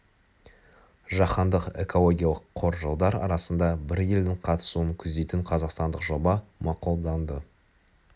жаһандық экологиялық қор жылдар арасында бір елдің қатысуын көздейтін қазақстандық жоба мақұлданды